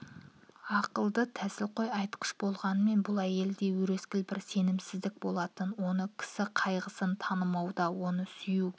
ақылды тәсілқой айтқыш болғанмен бұл әйелде өрескел бір сенімсіздік болатын онысы кісі қайғысын танымауда оны сүюге